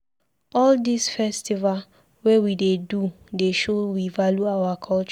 All dis festival wey we dey do dey show we value our culture.